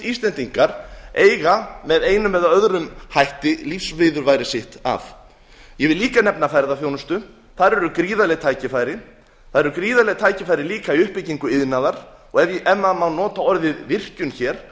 íslendingar eiga með einum eða öðrum hætti lífsviðurværi sitt af ég vil líka nefna ferðaþjónustu þar eru gríðarleg tækifæri það eru gríðarleg tækifæri líka í uppbyggingu iðnaðar og ef maður má nota orðið virkjun hér